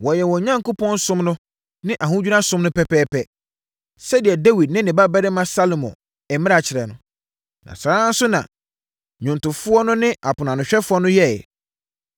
Wɔyɛɛ wɔn Onyankopɔn som no ne ahodwira som no pɛpɛɛpɛ, sɛdeɛ Dawid ne ne babarima Salomo mmara kyerɛ no, na saa ara nso na nnwomtofoɔ no ne aponoanohwɛfoɔ no yɛeɛ.